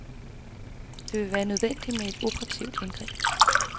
Det vil være nødvendigt med et operativt indgreb.